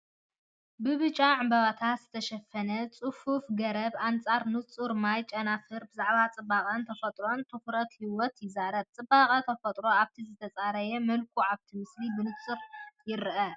ብብጫ ዕምባባታት ዝተሸፈነ ጽፉፍ ገረብ ኣንጻር ንጹር ሰማይ፤ ጨናፍራ ብዛዕባ ጽባቐ ተፈጥሮን ትኹረት ህይወትን ይዛረቡ። ጽባቐ ተፈጥሮ ኣብቲ ዝተጸረየ መልክዑ ኣብቲ ምስሊ ብንጹር ይርአ።